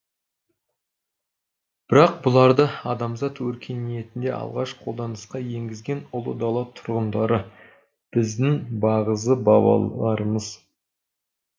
бірақ бұларды адамзат өркениетінде алғаш қолданысқа енгізген ұлы дала тұрғындары біздің бағзы бабаларымыз